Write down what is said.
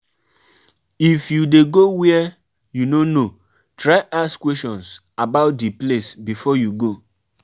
My pikin tell me she say she wan mai go we go um visit amuzium Park when their holiday go start